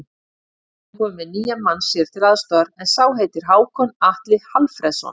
Orri er kominn með nýjan mann sér til aðstoðar, en sá heitir Hákon Atli Hallfreðsson.